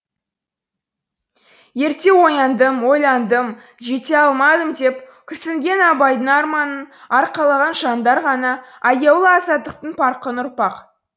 ерте ояндым ойландым жете алмадым деп күрсінген абайдың арманын арқалаған жандар ғана аяулы азаттықтың парқын ұқпақ